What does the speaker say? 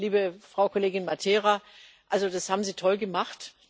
Liebe Frau Kollegin Matera, das haben Sie toll gemacht!